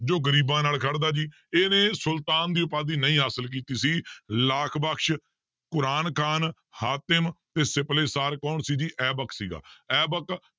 ਜੋ ਗ਼ਰੀਬਾਂ ਨਾਲ ਖੜਦਾ ਜੀ ਇਹਨੇ ਸੁਲਤਾਨ ਦੀ ਉਪਾਧੀ ਨਹੀਂ ਹਾਸਿਲ ਕੀਤੀ ਸੀ ਲਾਖ ਬਕਸ, ਕੁਰਾਨ ਖ਼ਾਨ, ਹਾਤਿਮ ਤੇ ਸਿਪਲੇ ਸਾਰ ਕੌਣ ਸੀ ਜੀ ਐਬਕ ਸੀਗਾ ਐਬਕ